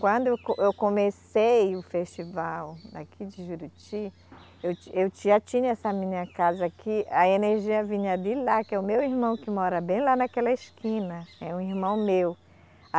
Quando eu co, eu comecei o festival aqui de Juruti, eu ti, eu ti, já tinha essa minha casa aqui, a energia vinha de lá, que é o meu irmão que mora bem lá naquela esquina, é um irmão meu.